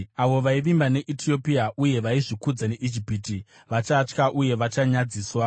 Avo vaivimba neEtiopia uye vaizvikudza neIjipiti vachatya uye vachanyadziswa.